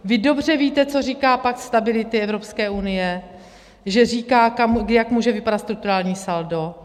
Vy dobře víte, co říká pakt stability Evropské unie, že říká, jak může vypadat strukturální saldo.